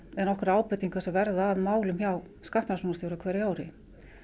nokkrar ábendingar sem verða að málum hjá skattrannsóknarstjóra á hverju ári